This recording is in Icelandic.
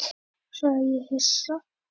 sagði ég hissa.